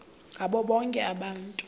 ngabo bonke abantu